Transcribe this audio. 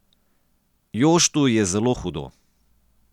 Joštu je zelo hudo.